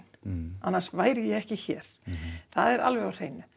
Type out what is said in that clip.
annars væri ég ekki hér það er alveg á hreinu